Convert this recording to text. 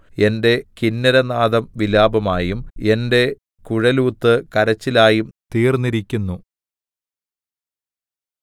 എന്റെ കിന്നരനാദം വിലാപമായും എന്റെ കുഴലൂത്ത് കരച്ചിലായും തീർന്നിരിക്കുന്നു